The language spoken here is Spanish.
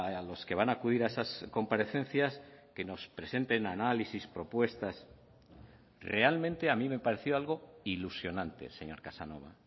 a los que van a acudir a esas comparecencias que nos presenten análisis propuestas realmente a mí me pareció algo ilusionante señor casanova